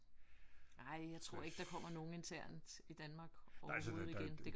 Nej jeg tror ikke der kommer nogen internt i Danmark overhovedet igen det gør der ikke